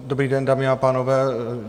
Dobrý den, dámy a pánové.